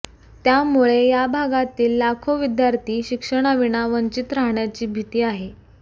त्यामुळे या भागातील लाखो विद्यार्थी शिक्षणाविना वंचित राहण्याची भीती आहे